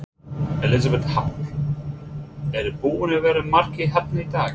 Elísabet Hall: Eru búnir að vera margir hérna í dag?